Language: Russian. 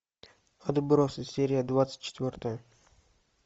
отбросы серия двадцать четвертая